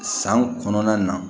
San kɔnɔna na